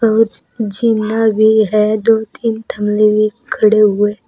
कुछ जीना भी है दो तीन थाने खड़े हुए।